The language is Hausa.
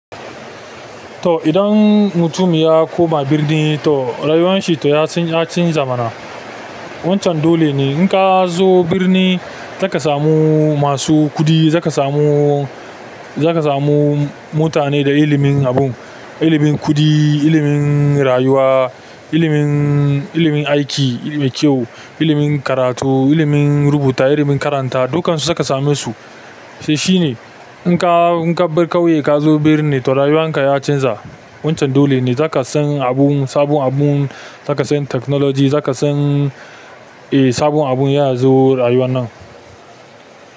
To, idan mutum ya koma birni to rayuwan shi ya chanza mana. Wancan dole ne. In ka zo birni za ka samu masu kuɗi, za ka samu, za ka samu mutane da ilimin abun, ilimin kuɗi, ilimin rayuwa, ilimin, ilimin aiki, ilimin kyau, ilimin karatu, ilimin rubuta, ilimin karanta, dukan su za ka same su. To, shi ne in ka bar ƙauye ka zo birni to rayuwan ka ya canza. Wancan dole ne. Za ka san abun, sabon abun, za ka san technology, za ka san, eh sabon abun ya zo rayuwan nan.